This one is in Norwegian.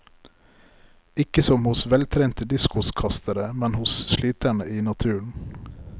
Ikke som hos veltrente diskoskastere, men som hos sliterne i naturen.